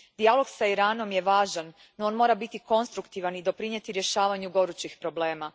Dijalog s Iranom je važan, no on mora biti konstruktivan i doprinijeti rješavanju gorućih problema.